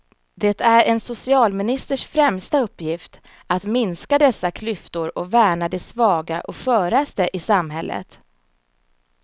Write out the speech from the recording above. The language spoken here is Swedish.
Det är en socialministers främsta uppgift att minska dessa klyftor och värna de svaga och sköraste i samhället.